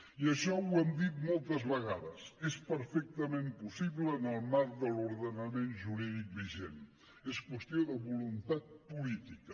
i això ho hem dit moltes vegades és perfectament possible en el marc de l’ordenament jurídic vigent és qüestió de voluntat política